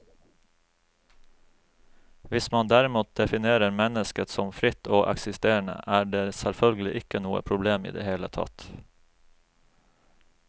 Hvis man derimot definerer mennesket som fritt og eksisterende, er det selvfølgelig ikke noe problem i det hele tatt.